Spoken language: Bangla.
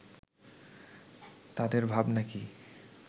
তাদের ভাবনা কি